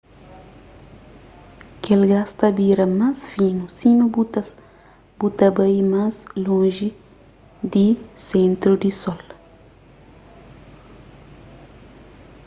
kel gás ta bira más finu sima bu ta bai más lonji di sentru di sol